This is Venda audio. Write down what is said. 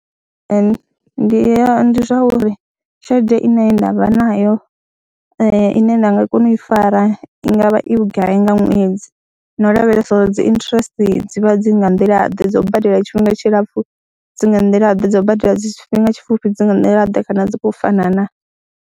Ee, ndi ya ndi zwa uri tshelede ine nda vha nayo ine nda nga kona u i fara i nga vha i vhugai nga ṅwedzi na u lavhelesa uri dzi interest dz ivha dzi nga nḓilaḓe, dza u badela tshifhinga tshilapfhu dzi nga nḓilaḓe, dza u badela dzi tshifhinga tshipfhufhi dzi nga nḓilaḓe kana dzi khou fana naa.